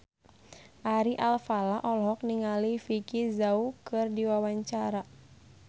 Ari Alfalah olohok ningali Vicki Zao keur diwawancara